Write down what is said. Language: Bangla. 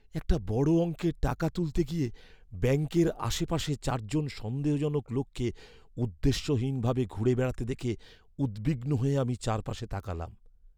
একটা বড় অঙ্কের টাকা তুলতে গিয়ে ব্যাঙ্কের আশেপাশে চারজন সন্দেহজনক লোককে উদ্দেশ্যহীন ভাবে ঘুরে বেড়াতে দেখে উদ্বিগ্ন হয়ে আমি চারপাশে তাকালাম।